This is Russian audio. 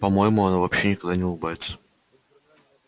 по моему она вообще никогда не улыбается